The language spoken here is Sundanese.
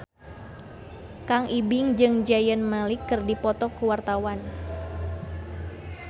Kang Ibing jeung Zayn Malik keur dipoto ku wartawan